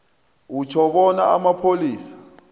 utjho bona amapholisa